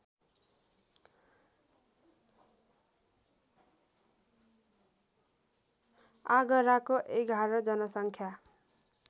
आगराको ११ जनसङ्ख्या